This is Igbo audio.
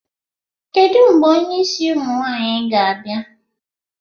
Kedu mgbe onye isi ụmụ nwaanyịga-abịa?